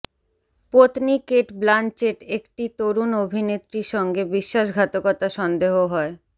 পত্নী Cate Blanchett একটি তরুণ অভিনেত্রী সঙ্গে বিশ্বাসঘাতকতা সন্দেহ হয়